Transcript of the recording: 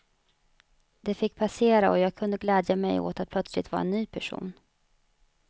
Det fick passera och jag kunde glädja mej åt att plötsligt vara en ny person.